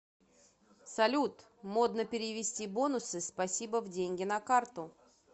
салют модно перевести бонусы спасибо в деньги на карту